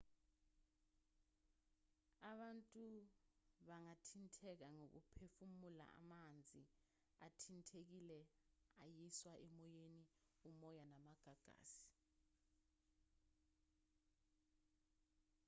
abantu bangathinteka ngokuphefumula amanzi athintekile ayiswa emoyeni umoya namagagasi